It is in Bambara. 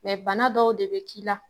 bana dɔw de be k'i la